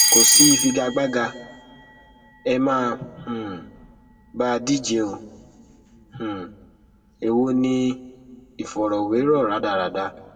kò sí ìfigagbága ẹ má um bà á díje o um èwo ni ìfọrọwérọ rádaràda